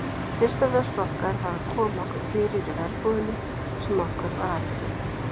Fyrsta verk okkar var að koma okkur fyrir í verbúðinni sem okkur var ætluð.